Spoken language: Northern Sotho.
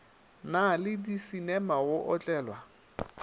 na le disinema go otlelwa